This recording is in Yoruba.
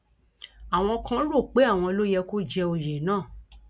àwọn kan rò ó pé àwọn ló yẹ kó jẹ òye náà